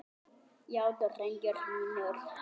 Já drengir mínir.